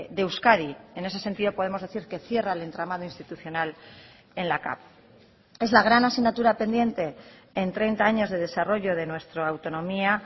de euskadi en ese sentido podemos decir que cierra el entramado institucional en la cav es la gran asignatura pendiente en treinta años de desarrollo de nuestra autonomía